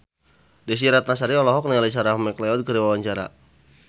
Desy Ratnasari olohok ningali Sarah McLeod keur diwawancara